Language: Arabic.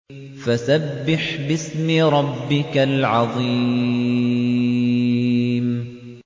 فَسَبِّحْ بِاسْمِ رَبِّكَ الْعَظِيمِ